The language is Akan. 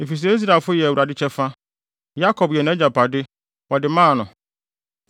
Efisɛ Israelfo yɛ Awurade kyɛfa; Yakob yɛ nʼagyapade wɔde maa no.